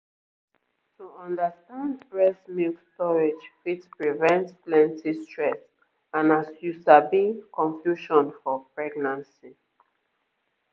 to understand breast milk storage fit prevent plenty stress and as you sabi confusion for pregnancy